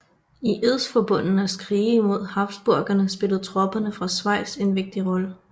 I edsforbundenes krige mod Habsburgerne spillede tropperne fra Schwyz en vigtig rolle